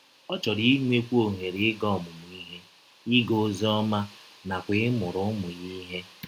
Ọ chọrọ inwekwụ ọhere ịga ọmụmụ ihe, ịga ọzi ọma, nakwa ịmụrụ ụmụ ya ihe.